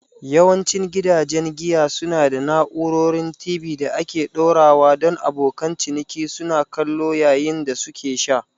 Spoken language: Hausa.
Yawancin gidajen giya suna da na'urorin TV da aka ɗora don abokan ciniki suna kallo yayin da suke sha.